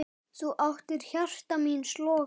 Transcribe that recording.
Þú áttir hjarta míns loga.